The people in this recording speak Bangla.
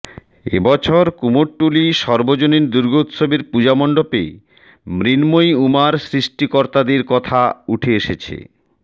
এবছর কুমোরটুলি সর্বজনীন দুর্গোৎসবের পুজো মণ্ডপে মৃন্ময়ী উমার সৃষ্টিকর্তাদের কথা উঠে এসেছে